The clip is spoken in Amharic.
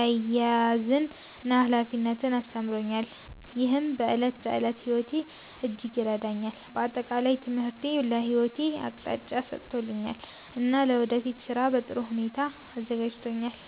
አያያዝን እና ኃላፊነትን አስተምሮኛል፣ ይህም በዕለት ተዕለት ሕይወቴ እጅግ ይረዳኛል። በአጠቃላይ ትምህርቴ ለሕይወቴ አቅጣጫ ሰጥቶኛል እና ለወደፊት ሥራ በጥሩ ሁኔታ አዘጋጅቶኛል።